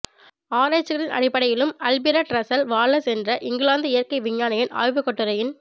ஆராய்சிகளின் அடிப்படையிலும் Alfred Russel Wallace என்ற England இயற்கை விஞ்ஞானியின் ஆய்வுக்கட்டுரையின்